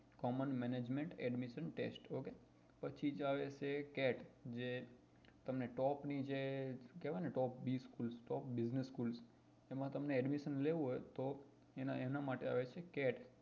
Commen management admission test પછી જે આવે છે એ cat જે તમને top જે કેવાય ને એમાં તમને admission લેવું હોય તો એના એના માટે આવે છે cat